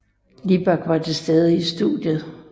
Libak var til stede i studiet